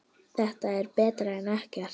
Þetta er betra en ekkert